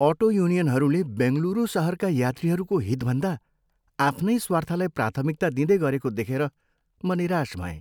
Auto युनियनहरूले बेङ्गलुरू सहरका यात्रीहरूको हितभन्दा आफ्नै स्वार्थलाई प्राथमिकता दिँदै गरेको देखेर म निराश भएँ।